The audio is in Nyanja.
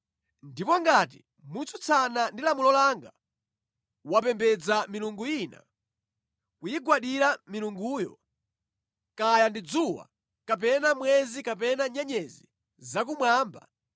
ndipo ngati motsutsana ndi lamulo langa wapembedza milungu ina, kuyigwadira milunguyo, kaya ndi dzuwa kapena mwezi kapena nyenyezi zakumwamba,